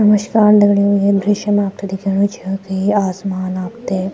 नमस्कार दगड़ियों ये दृश्य मा आपथे दिखेणु च की आसमान आपथे --